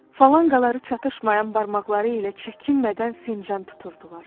Falanqaları çatışmayan barmaqları ilə çəkinmədən fincan tuturdular.